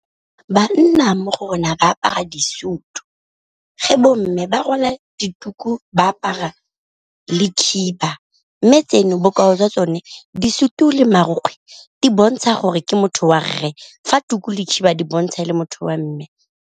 Banna mo go rona ba apara disutu, fa bo mme ba rwala dituku ba apara le khiba, mme tseno bokao jwa tsone disutu le marokgwe di bontsha gore ke motho wa re fa tuku le khiba di bontsha le motho wa mme.